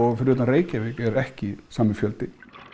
utan Reykjavík er ekki sami fjöldi